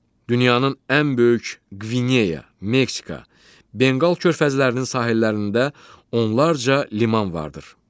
Dünyanın ən böyük Qvineya, Meksika, Benqal körfəzlərinin sahillərində onlarca liman vardır.